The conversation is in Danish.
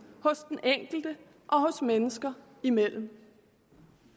hos den enkelte og hos mennesker imellem